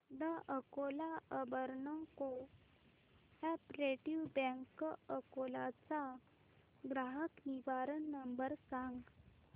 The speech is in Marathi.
the Akola urban cooperative bank Akola चा ग्राहक निवारण नंबर सांग